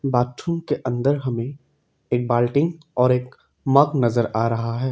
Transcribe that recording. Bathroom के अंदर हमें एक बाल्टी और एक मग नजर आ रहा है।